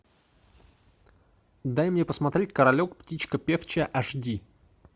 дай мне посмотреть королек птичка певчая аш ди